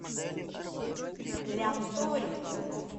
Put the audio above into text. лянторе